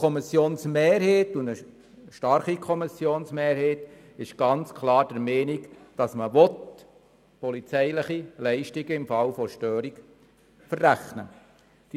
Eine starke Kommissionsmehrheit ist also ganz klar der Meinung, dass man polizeiliche Leistungen im Fall von Störung weiterverrechnen kann.